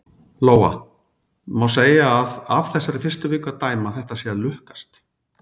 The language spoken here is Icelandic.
Lóa: Má segja að af þessari fyrstu viku að dæma að þetta sé að lukkast?